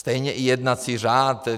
Stejně i jednací řád.